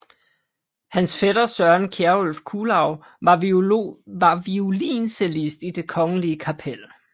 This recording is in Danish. Hans fætter Søren Kjerulf Kuhlau var violoncellist i Det Kongelige Kapel